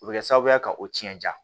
O bɛ kɛ sababu ye ka o cɛn jan